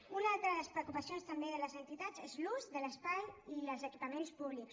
una altra de les preocupacions també de les entitats és l’ús de l’espai i els equipaments públics